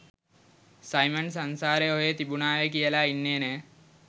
Simon සංසාරය ඔහේ තිබුණාවේ කියලා ඉන්නේ නෑ.